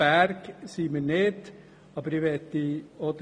Wir sind somit noch nicht ganz über den Berg.